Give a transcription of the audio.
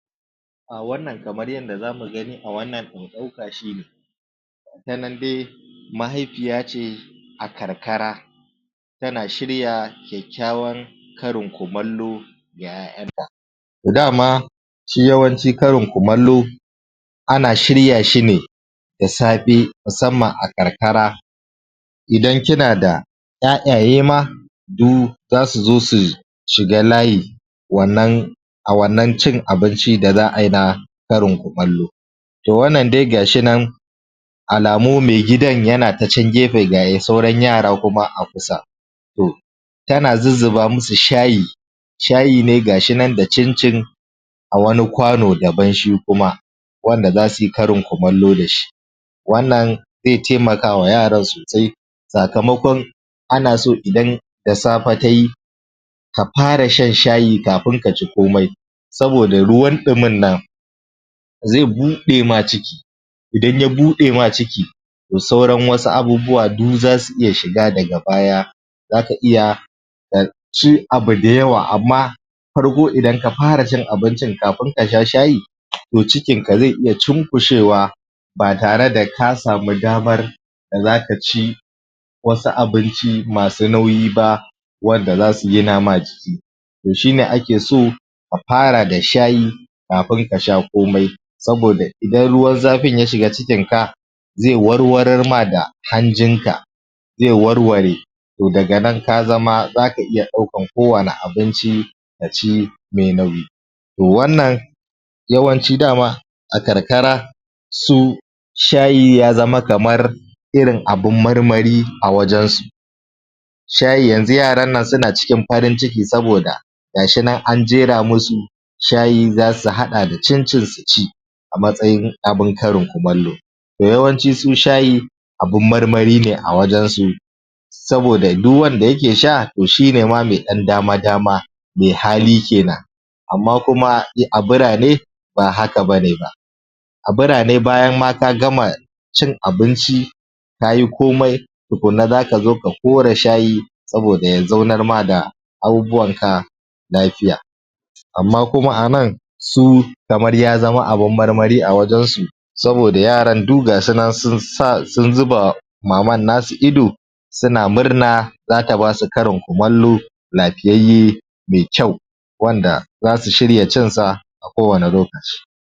Wannan kamar yadda za mu gani a wannan ɗauka shine, tanan dai mahaifiya ce a karkara tana shiryan kyakkyawan karin kumallo da 'yarta. Da ma shi yawanci karin kumallo ana shirya shi ne eda safe musamman a karkara idan kina da 'ya'yayema du za su zo su shiga layi wannan a wannan cin abinci da za ayi na karin kumallo. To wannan dai ga shi nan alamu me gidan ya ta can gefe ga sauran yara kuma a kusa. To, tana zuzzuvba musu shayi, shayi ne ga shi nan da cincin a wani kwano dabam shi kuma wanda za su yi karin kumallo da shi. Wannan zai taimakawa yaran su tai sakamakon ana so idan da safe tayi, ka fara shan shayi kafin ka ci komai saboda ruwan ɗimin nan zai buɗema ciki, idan ya buɗema ciki to sauran wasu abubuwa du za su iya shiga daga baya zaka iya ka ci abu da yawa, amma da farko idan ka fara cin abincin kafi ka sha shayin to cikin ka zai iya cunkushewa ba tare da kasamu damar da zaka ci wasu abinci masu nuyi ba, wanda za su gina ma jiki. To shine ake so ka far da shayi, kafin ka sha komai saboda idan ruwan zafin ya shiga cikinka, zai warwararma da hanjinka, zai warware to daga ka zma zaka iya ɗaukan kowanne irin abinci ka ci mai nauyi. To wannan yawanci dama a karkara su shayi ya zama kamar irin abun marm, ari a wurinsu. Shayi yanzu yaranan suna cikin farin ciki saboda, ga shi nan an jera musu shayi za su haɗa da cincin su ci a matsayin abun karin kumallo. To yawanci su shayi abun marmari ne a wajen su saboda duk wanda ayake sha, to shine ma me ɗan dama-dama, me hali kenan. Amma kuma a birane, ba haka bane ba. A birane bayan ma ka gama cin abinci kayi komai tukuna za ka zo ka kora shayi saboda ya zaunar ma da abubuwanka lafiya. Amma kuma anan kamar ya zama abun marmari a wurinsu saboda yaran du gasunan sun zuba ma maman nasu ido suna murna za ta basu karin kumallo, lafiyayye mai kyau. wandaza su shirya cin sa a kowanne lokaci.